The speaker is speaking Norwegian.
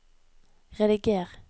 rediger